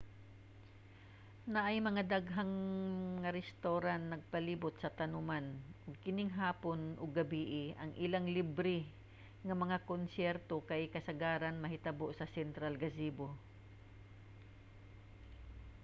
naay mga daghan nga restawran nagpalibot sa tanoman ug inig hapon ug gabie ang ilang libre nga mga konsyerto kay kasagaran mahitabo sa central gazebo